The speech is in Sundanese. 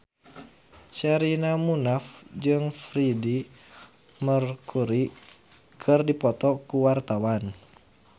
Sherina Munaf jeung Freedie Mercury keur dipoto ku wartawan